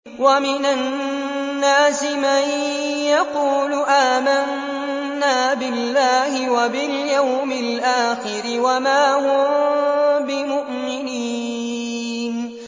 وَمِنَ النَّاسِ مَن يَقُولُ آمَنَّا بِاللَّهِ وَبِالْيَوْمِ الْآخِرِ وَمَا هُم بِمُؤْمِنِينَ